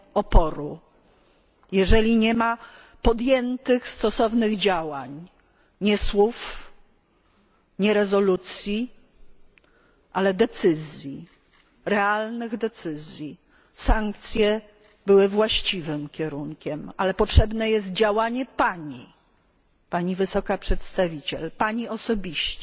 oporu, jeżeli nie ma podjętych stosownych działań nie słów, nie rezolucji, ale decyzji, realnych decyzji. Sankcje były właściwym kierunkiem, ale potrzebne jest Pani działanie, Pani Wysoka Przedstawiciel, Pani osobiste